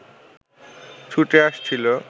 ছুটে আসছিল